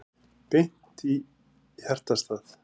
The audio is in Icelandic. Beint í hjartastað